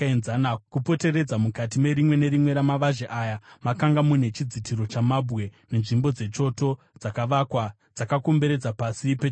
Kupoteredza mukati merimwe nerimwe ramavazhe mana aya makanga mune chidziro chamabwe, nenzvimbo dzechoto dzakavakwa dzakakomberedza pasi pechidziro.